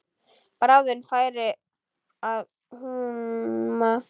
Bráðum færi að húma.